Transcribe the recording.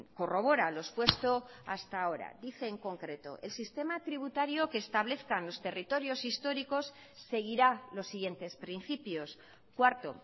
corrobora lo expuesto hasta ahora dice en concreto el sistema tributario que establezcan los territorios históricos seguirá los siguientes principios cuarto